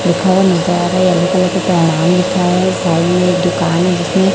दुकान है इसमें--